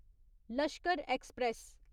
Lashkar express